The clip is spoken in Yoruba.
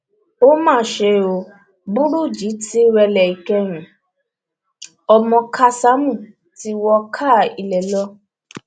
ó mà ṣe o burújí ti rẹlẹ ìkẹyìn ọmọ kásámù ti wọ káà ilé lọ